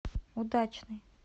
удачный